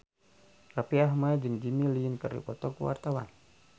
Raffi Ahmad jeung Jimmy Lin keur dipoto ku wartawan